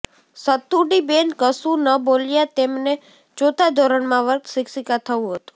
સતુડીબેન કશું ન બોલ્યાં તેમને ચોથા ધોરણમાં વર્ગ શિક્ષિકા થવું હતું